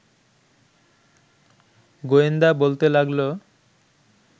গোয়েন্দা বলতে লাগল